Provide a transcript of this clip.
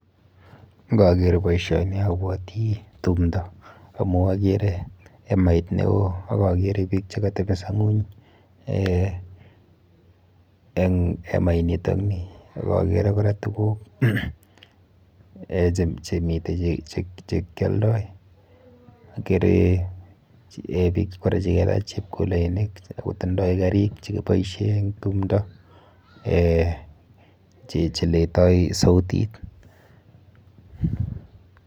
Nkaker boisioni abwati tumdo amu akere emait neo ak akere biik chekatepiso ng'uny eh eng emainitokni ak akere kora tuguk eh chemite chekialdoi. Akere eh biik kora chikelach chepulenik akotindoi karik chekiboishe eng tumdo eh cheletoi sautit.